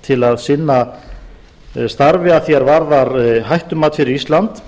til að sinna starfi að því er varðar hættumat fyrir ísland